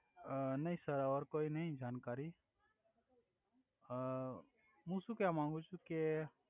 અ નઈ સર ઓઇ કોઇ નઈ જાણકારી હુ સુ કેવા માંગુ છુ કે